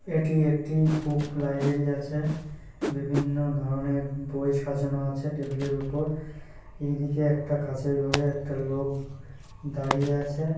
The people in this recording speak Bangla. এটি একটি বুক লাইব্রেরী আছে। বিভিন্ন ধরনের বই সাজানো আছে টেবিলের উপর। এদিকে একটা কাচের ঘরে একটা লোক দাঁড়িয়ে আছে।